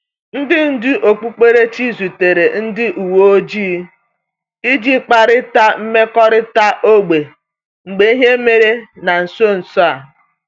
Ndị ndú okpukperechi zutere ndị uwe ojii iji kparịta mmekọrịta ógbè mgbe ihe mere na nso nso a.